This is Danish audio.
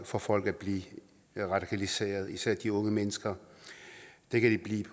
for folk at blive radikaliseret især de unge mennesker det kan de